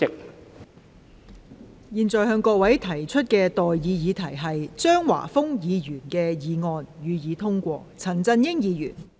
我現在向各位提出的待議議題是：張華峰議員動議的議案，予以通過。